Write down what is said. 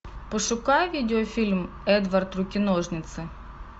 пошукай видеофильм эдвард руки ножницы